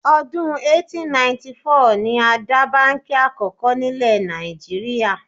Ọdún 1894 ni a dá báǹkì Àkọ́kọ́ nílẹ̀ Nàìjíríà